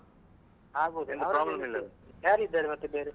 ಆಗ್ಬೋದು ಯಾರಿದ್ದಾರೆ ಮತ್ತೆ ಬೇರೆ?